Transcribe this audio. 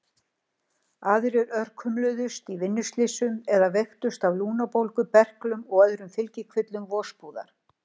Aðrir örkumluðust í vinnuslysum eða veiktust af lungnabólgu, berklum og öðrum fylgikvillum vosbúðar.